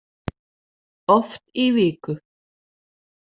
Oft í viku.